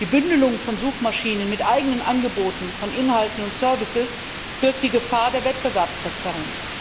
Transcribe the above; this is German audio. Die Bündelung von Suchmaschinen mit eigenen Angeboten von Inhalten und Dienst birgt die Gefahr der Wettbewerbsverzerrung.